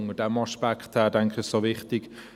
Unter diesem Aspekt, denke ich, ist es auch wichtig.